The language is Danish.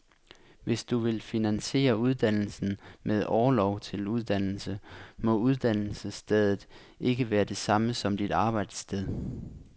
Hvis du vil finansiere uddannelsen med orlov til uddannelse, må uddannelsesstedet ikke være det samme som dit arbejdssted.